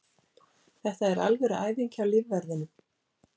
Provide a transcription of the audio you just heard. Þetta er alvöru æfing hjá lífverðinum.